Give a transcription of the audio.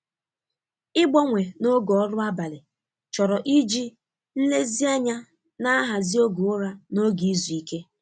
Ịgbanwe na oge ọrụ abalị chọrọ iji nlezianya na-ahazi oge ụra na oge izu ike.